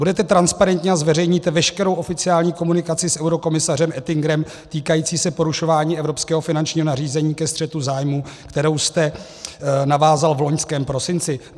Budete transparentní a zveřejníte veškerou oficiální komunikaci s eurokomisařem Oettingerem týkající se porušování evropského finančního nařízení ke střetu zájmu, kterou jste navázal v loňském prosinci?